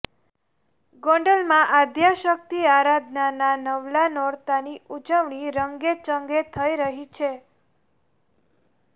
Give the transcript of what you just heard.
ગોંડલમાં આદ્યશકિત આરાધનાના નવલા નોરતાની ઉજવણી રંગે ચંગે થઇ રહી છે